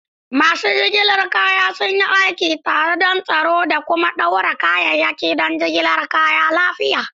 Masu jigilar kaya sun yi aiki tare don tsaro da kuma ɗaure kayayyaki don jigilar kaya lafiya.